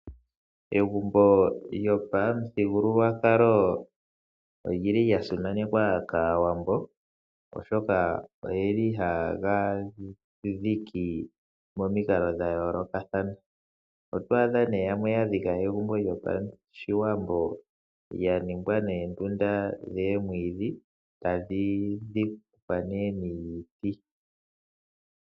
Egumbo lyopamuthigululwakalo olya simanekwa kAawambo, oshoka ohaye ga dhiki momikalo dha yoolokathana. Oto adha nduno yamwe yadhika egumbo lyopashiwambo lyatungwa noondunda dhomwiidhi, tadhi dhikwa nduno niiti.